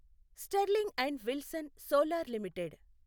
sterling and Wilson Solar limited